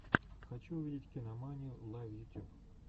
хочу увидеть кинаманию лайв ютьюб